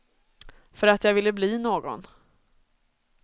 För att jag ville bli någon.